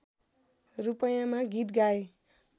रूपैयाँमा गीत गाएँ